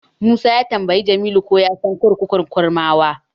Musa ya tambayi Umar ko ya san kurkukun Kurmawa.